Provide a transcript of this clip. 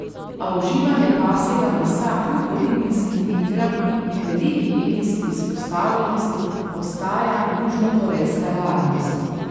A uživanje pasjega mesa kljub olimpijskim igram in veliki medijski izpostavljenosti ostaja južnokorejska realnost.